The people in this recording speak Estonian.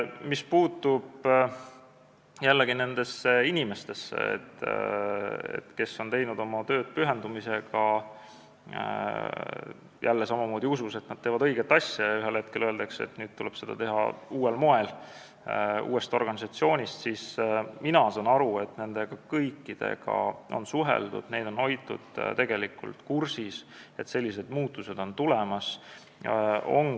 Mis puutub nendesse inimestesse, kes on teinud oma tööd pühendumisega, jälle samamoodi usus, et nad teevad õiget asja, aga ühel hetkel öeldakse, et nüüd tuleb seda teha uuel moel ja uues organisatsioonis, siis mina saan aru, et nende kõikidega on suheldud, neid on hoitud kursis, et sellised muutused on tulemas.